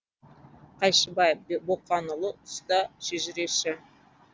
қайшыбай боқанұлы ұста шежіреші